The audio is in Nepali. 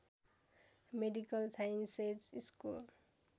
medical sciences school